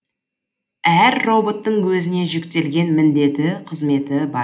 әр роботтың өзіне жүктелген міндеті қызметі бар